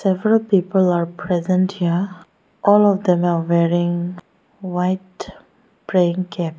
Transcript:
several people are present here all of them are wearing white plain cap.